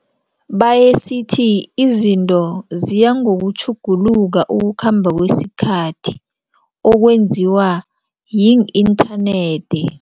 Bayesithi izinto ziyangokutjhuguluka ukukhamba kwesikhathi okwenziwa yi-internet.